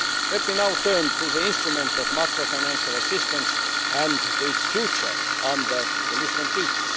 Let me now turn to the instrument of macro financial assistance and to its future under the Lisbon Treaty.